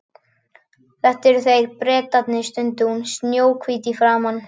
Þetta eru þeir, Bretarnir stundi hún upp, snjóhvít í framan.